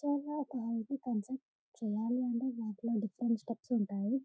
చాల quality concept చెయ్యాలి అంటే డిఫరెంట్ స్టెప్స్ ఉంటాయి --